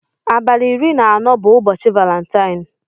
Abali iri na anọ bu ụbọchi balentie.